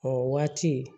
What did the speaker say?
O waati